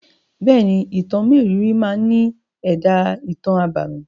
Bẹ́è ni, Ìtàn mérìíìírì máa ní èdá ìtàn abámi.